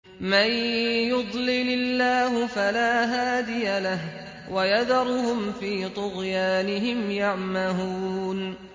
مَن يُضْلِلِ اللَّهُ فَلَا هَادِيَ لَهُ ۚ وَيَذَرُهُمْ فِي طُغْيَانِهِمْ يَعْمَهُونَ